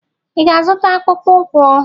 Ị ga-azụta akpụkpọ ụkwụ?